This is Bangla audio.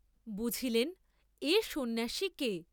বুঝিলেন, এ সন্ন্যাসী কে।